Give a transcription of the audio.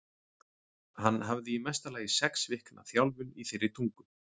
Hann hafði í mesta lagi sex vikna þjálfun í þeirri tungu.